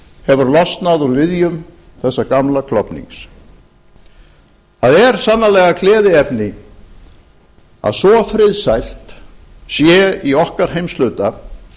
hefur losnað úr viðjum þessa gamla klofnings það er sannarlega gleðiefni að svo friðsælt sé í okkar heimshluta